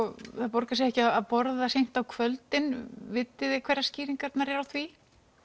borgar sig ekki að borða seint á kvöldin vitiði hverjar skýringarnar eru á því